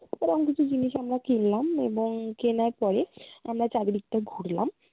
এরম কিছু জিনিস আমরা কিনলাম এবং কেনার পরে আমরা চারিদিকটা ঘুরলাম